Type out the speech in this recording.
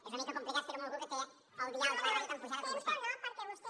és una mica complicat fer ho amb algú que té el dial de la ràdio tan apujat com vostè